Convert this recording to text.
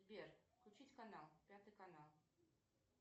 сбер включить канал пятый канал